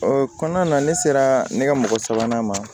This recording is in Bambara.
O kɔnɔna na ne sera ne ka mɔgɔ sabanan ma